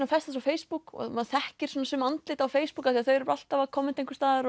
festast á Facebook og maður þekkir sum andlit á Facebook af því þau eru alltaf að kommenta einhvers staðar